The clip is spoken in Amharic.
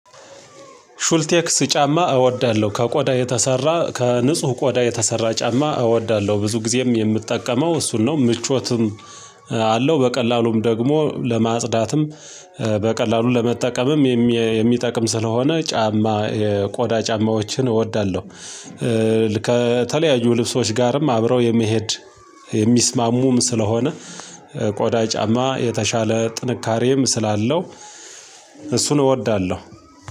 ሹልቴክስ ጫማ እወዳለሁ ከቆዳ የተሰራ ከንጹህ ቆዳ የተሰራ ጫማ እወዳለሁ። ብዙ ጊዜም የምትጠቀመው እሱን ነው ምቾትም አለው በቀላሉም ደግሞ ለማጽዳትም በቀላሉ ለመጠቀምም የሚጠቅም ስለሆነ ጫማ የቆዳ ጫማዎችን እወዳለሁ። ከተለያዩ ልብሶች ጋርም አብረው የመሄድ የሚስማሙም ስለሆነ ቆዳ ጫማ የተሻለ ጥንካሬም ስላለው እሱን እወዳለሁ